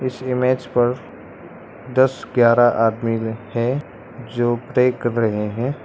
इस इमेज पर दस ग्यारह आदमी है जो प्रे कर रहे हैं।